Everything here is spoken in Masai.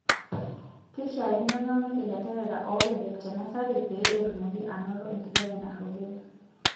Keishaakino neuni ilanterera oobebek te nasari pee etumoki aanoto enkijape narropil.